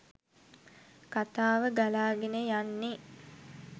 කතාව ගලාගෙන යන්නෙ.